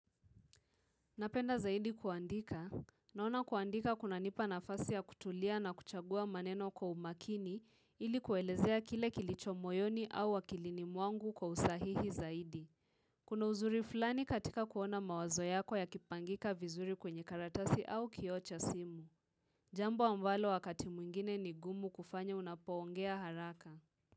Napenda zaidi kuandika. Naona kuandika kunanipa nafasi ya kutulia na kuchagua maneno kwa umakini ili kuelezea kile kilicho moyoni au akilini mwangu kwa usahihi zaidi. Kuna uzuri fulani katika kuona mawazo yako yakipangika vizuri kwenye karatasi au kioo cha simu. Jambo ambalo wakati mwingine ni gumu kufanya unapoongea haraka.